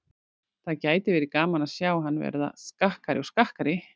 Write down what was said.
Það gæti verið gaman að sjá hann verða skakkari og skakkari.